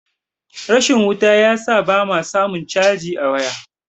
rashin wuta ya sa ba ma samun caji a waya